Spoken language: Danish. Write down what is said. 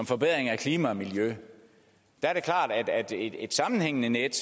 forbedring af klima og miljø er det klart at et sammenhængende net